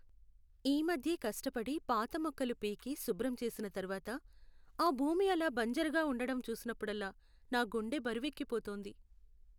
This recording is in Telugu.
ఈ మధ్యే కష్టపడి పాత మొక్కలు పీకి శుభ్రం చేసిన తరువాత, ఆ భూమి అలా బంజరుగా ఉండటం చూసినప్పుడల్లా, నా గుండె బరువెక్కిపోతుంది.